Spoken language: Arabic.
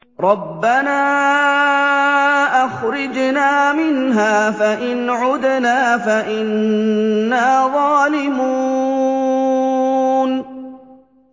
رَبَّنَا أَخْرِجْنَا مِنْهَا فَإِنْ عُدْنَا فَإِنَّا ظَالِمُونَ